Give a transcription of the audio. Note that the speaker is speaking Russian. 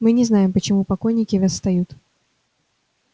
мы не знаем почему покойники восстают